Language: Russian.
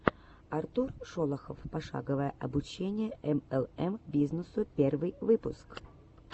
артур шолохов пошаговое обучение млм бизнесу первый выпуск